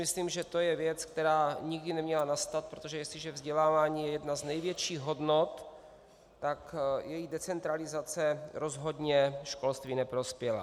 Myslím si, že to je věc, která nikdy neměla nastat, protože jestliže vzdělávání je jedna z největších hodnot, tak jeho decentralizace rozhodně školství neprospěla.